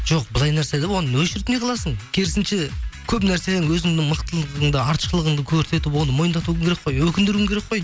жоқ былай нәрсе де оны өшіріп не қыласың керісінше көп нәрсе өзіңнің мылтылығыңды артықшылығыңды көрсетіп оны мойындатуың керек қой өкіндіруің керек қой